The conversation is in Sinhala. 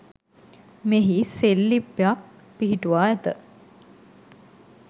මෙහි සෙල්ලිප්යක් පිහිටුවා ඇත.